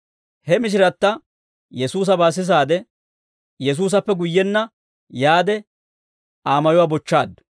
He mishiratta Yesuusabaa sisaade, asaa giddonna Yesuusappe guyyenna yaade, Aa mayuwaa bochchaaddu.